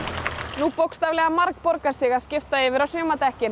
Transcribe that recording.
nú bókstaflega margborgar sig að skipta yfir á sumardekkin